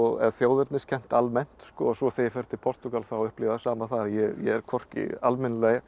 eða þjóðerniskennd almennt svo þegar ég fer til Portúgal þá upplifi ég það sama þar ég er hvorki almennilega